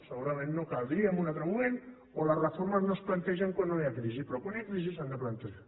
segurament no caldria en un altre moment o les reformes no es plantegen quan no hi ha crisi però quan hi ha crisi s’han de plantejar